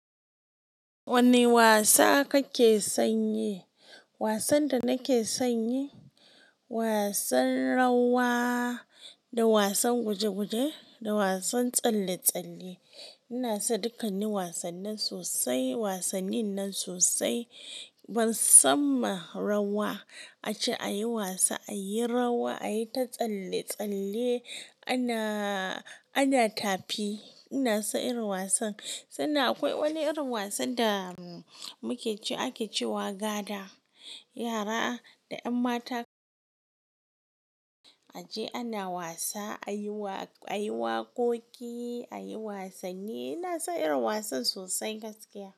Wane wasa kake san yi? Wasan da nake san y wasan rawa da wasan guje-guje da wasan tsalle-tsalle. Ina son dukkanin wasanni sosai, wasannin nan sosai. Ban sanma, rawa ace ayi wasa, ayi rawa ayi ta tsalle-tsalle ana, ana tafi. Ina son irin wasan. Sannan akwai wani irin wasan da muke cewa ake cewa gada. Yara da yan mata aje ana wasa ayi waƙoƙi ayi wasanni. Ina son irin wasan sosai gaskiya.